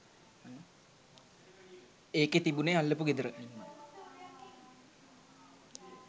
ඒකෙ තිබුනේ අල්ලපු ගෙදර